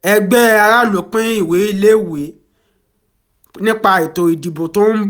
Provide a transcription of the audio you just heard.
ẹgbẹ́ aráàlú pín ìwé ìléwọ́ nípa ẹ̀tọ́ ìdìbò tó ń bọ̀